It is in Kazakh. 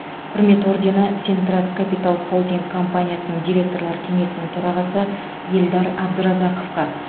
құрмет ордені сентрас капитал холдинг компаниясының директорлар кеңесінің төрағасы ельдар абдразаковқа